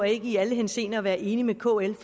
ikke i alle henseender behøver at være enig med kl